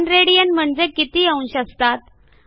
1 rad म्हणजे किती अंश असतात